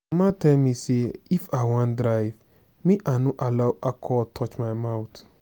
mama tell me say if i wan drive make i no allow alcohol touch my mouth